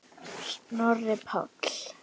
Snorri Páll.